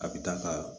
A bi taa ka